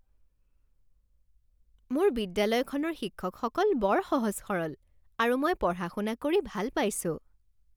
মোৰ বিদ্যালয়খনৰ শিক্ষকসকল বৰ সহজ সৰল আৰু মই পঢ়া শুনা কৰি ভাল পাইছোঁ।